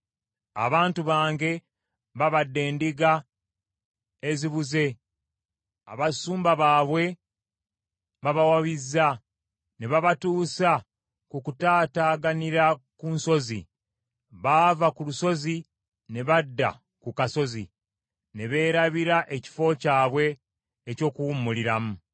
“Abantu bange babadde ndiga ezibuze; abasumba baabwe babawabizza ne babatuusa ku kutaataaganira ku nsozi. Baava ku lusozi ne badda ku kasozi ne beerabira ekifo kyabwe eky’okuwummuliramu.